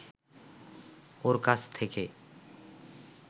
ওর কাছ থেকে